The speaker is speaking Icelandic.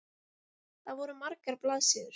Það voru margar blaðsíður.